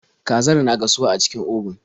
Kazar na gasuwa a cikin obun.